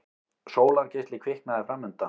Sólargeisli kviknaði framundan.